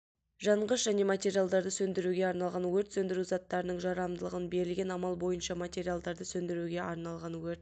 жанғыш және материалдарды сөндіруге арналған өрт сөндіру заттарының жарамдылығы берілген амал бойынша материалдарды сөндіруге арналған өрт